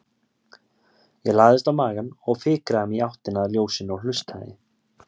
Ég lagðist á magann og fikraði mig í áttina að ljósinu og hlustaði.